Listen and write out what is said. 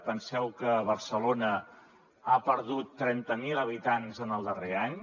penseu que barcelona ha perdut trenta mil habitants en el darrer any